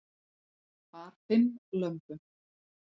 Bar fimm lömbum